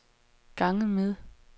ganget med